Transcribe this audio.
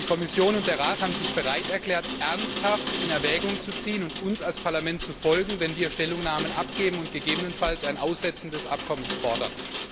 Die Kommission und der Rat haben sich bereit erklärt, ernsthaft in Erwägung zu ziehen, uns als Parlament zu folgen, wenn wir Stellungnahmen abgeben und gegebenenfalls ein Aussetzen des Abkommens fordern.